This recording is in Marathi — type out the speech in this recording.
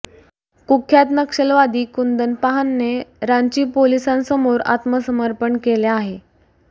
कुख्यात नक्षलवादी कुंदन पाहनने रांची पोलिसांसमोर आत्मसमर्पण केले आहे